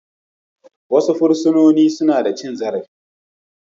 Wasu fursunoni suna da cin zarafi